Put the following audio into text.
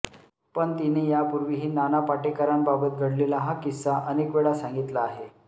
पण तिने यापूर्वीही नाना पाटेकरांबाबत घडलेला हा किस्सा अनेकवेळा सांगितला आहे